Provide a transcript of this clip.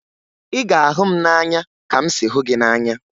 Ị ga-ahụ m n'anya ka m si hụ gị n'anya!